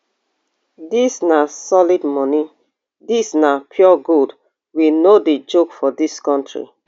dis na solid moni dis na pure gold we no dey joke for dis kontri